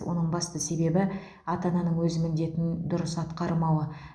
оның басты себебі ата ананың өз міндетін дұрыс атқармауы